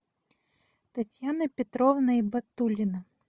татьяна петровна ибатуллина